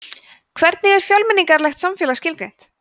hvernig er fjölmenningarlegt samfélag skilgreint